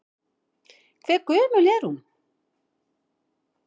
Hve gömul er hún?